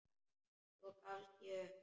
Svo gafst ég upp.